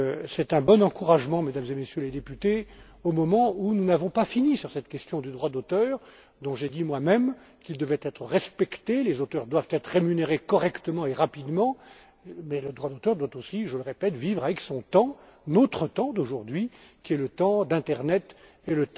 ici. C'est un bon encouragement, Mesdames et Messieurs les députés, au moment où nous n'avons pas épuisé cette question du droit d'auteur, dont j'ai moi même dit qu'il devait être respecté. Les auteurs doivent être rémunérés correctement et rapidement, mais le droit d'auteur doit aussi je le répète vivre avec son temps, notre temps d'aujourd'hui, qui est le temps de l'internet